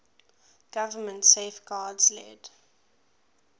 government safeguards led